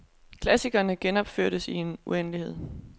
Klassikerne genopføres i en uendelighed.